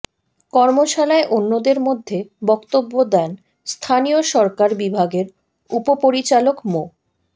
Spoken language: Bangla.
কর্মশালায় অন্যদের মধ্যে বক্তব্য দেন স্থানীয় সরকার বিভাগের উপপরিচালক মো